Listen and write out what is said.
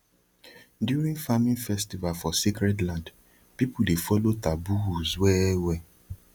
during farming festival for sacred land people dey follow taboos wellwell